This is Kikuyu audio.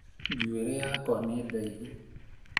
Njũĩrĩ yakwa nĩ ndaihu